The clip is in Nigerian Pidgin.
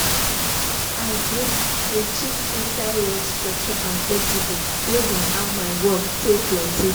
i dey dey shift inside rough structure and flexible based on how my work tey plenty.